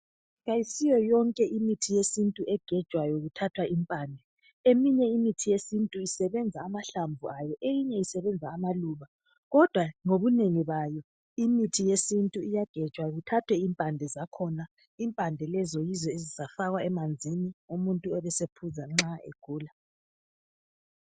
Ayisiyo yonke imithi yesintu egejwayo kuthathwa impande eminye imithi yesintu isebenza amahlamvu ayo eyinye isebenza amaluba kodwa ngobunengi bayo imithi yesintu iyagejwa kuthathwe impande zakhona impande lezi yizo ezifakwa emanzini umuntu ebesephuza nxa egula